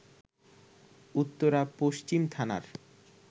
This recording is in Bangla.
উত্তরা পশ্চিম থানার